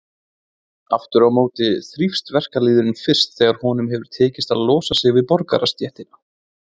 Aftur á móti þrífst verkalýðurinn fyrst þegar honum hefur tekist að losa sig við borgarastéttina.